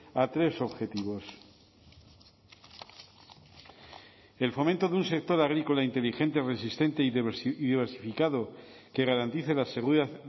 a tres objetivos el fomento de un sector agrícola inteligente resistente y diversificado que garantice la seguridad